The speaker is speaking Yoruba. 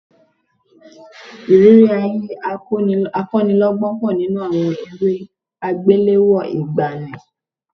Ìrírí ayé akọ́nilọ́gbọ́n pọ̀ nínú àwọn eré àgbéléwò ìgbàanì